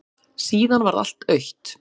Síðan varð allt autt.